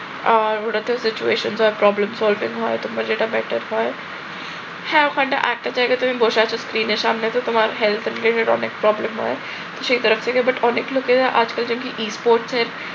আর ওটাতে ও situation wise problem solving হয় তোমরা যেটা better হয় হ্যাঁ ওখানটা একটা জায়গায় তুমি বসে আছ screen এর সামনে তো তোমার health এর অনেক problem হয় সেই তরফ থেকে but অনেক লোকে আজকাল দেখবে sports এর